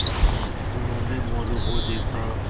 उन्होंने मोरू को देखा